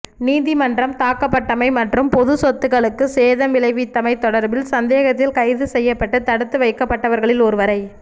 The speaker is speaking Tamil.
நீதிமன்றம் தாக்கப்பட்டமை மற்றும் பொதுச்சொத்துக்களுக்கு சேதம் விளைவித்தமை தொடர்பில் சந்தேகத்தில் கைதுசெய்யப்பட்டு தடுத்து வைக்கப்பட்டவர்களில் ஒருவரை